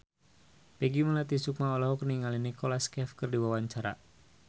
Peggy Melati Sukma olohok ningali Nicholas Cafe keur diwawancara